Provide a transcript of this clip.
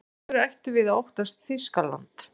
Af hverju ættum við að óttast Þýskaland?